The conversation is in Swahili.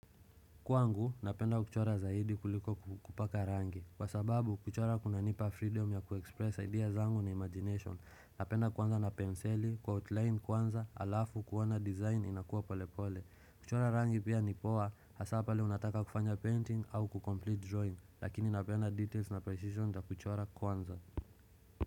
Kwangu, napenda kuchora zaidi kuliko kupaka rangi Kwa sababu, kuchora kuna nipa freedom ya kuexpress ideas zangu na imagination Napenda kwanza na penseli, kwa outline kwanza, alafu kuwana design inakuwa polepole kuchora rangi pia ni poa, hasapale unataka kufanya painting au kukomplete drawing Lakini napenda details na precision za kuchora kwanza.